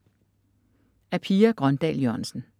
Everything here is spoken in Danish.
Af Pia Grøndahl Jørgensen